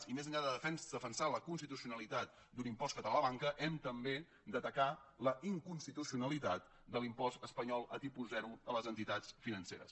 i més enllà de defensar la constitucionalitat d’un impost català a la banca hem també d’atacar la inconstitucionalitat de l’impost espanyol a tipus zero a les entitats financeres